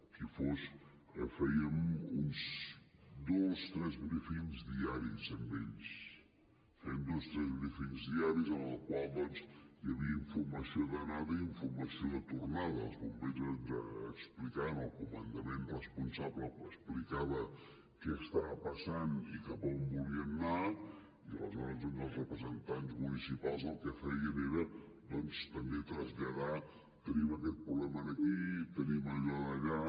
qui fos fèiem uns dos tres briefings diaris amb ells fèiem dos tres briefingsinformació d’anada i informació de tornada els bombers ens explicaven el comandament responsable explicava què estava passant i cap a on volien anar i aleshores els representants municipals el que feien era també traslladar tenim aquest problema aquí tenim allò d’allà